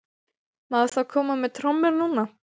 Má þá koma með trommur núna?